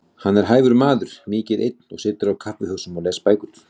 Hann er hæfur maður, mikið einn og situr á kaffihúsum og les bækur.